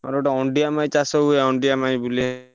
ମୋର ଗୋଟେ ଅଣ୍ଡିରା ମାଈ ଚାଷ ହୁଏ ଅଣ୍ଡିରା ମାଈ